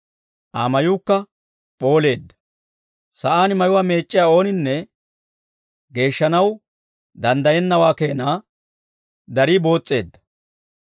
Aa mayuukka p'ooleedda; sa'aan mayuwaa meec'c'iyaa ooninne geeshshanaw danddayennawaa keenaa darii boos's'eedda.